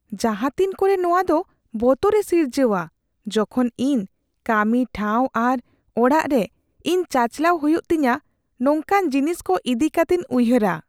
ᱡᱟᱦᱟᱸᱛᱤᱱ ᱠᱚᱨᱮ ᱱᱚᱶᱟ ᱫᱚ ᱵᱚᱛᱚᱨᱮ ᱥᱤᱨᱡᱟᱹᱣᱟ ᱡᱚᱠᱷᱚᱱ ᱤᱧ ᱠᱟᱹᱢᱤ ᱴᱷᱟᱶᱨᱮ ᱟᱨ ᱚᱲᱟᱜ ᱨᱮ ᱤᱧ ᱪᱟᱪᱟᱞᱟᱣ ᱦᱩᱭᱩᱜ ᱛᱤᱧᱟᱹ ᱱᱚᱝᱠᱟᱱ ᱡᱤᱱᱤᱥ ᱠᱚ ᱤᱫᱤ ᱠᱟᱹᱛᱤᱧ ᱩᱭᱦᱟᱹᱨᱟ ᱾